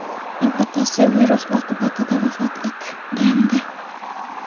Uning otasi virus oqibatida vafot etgandi.